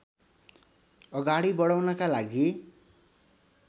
अगाडि बढाउनका लागि